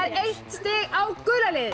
eitt stig á gula liðið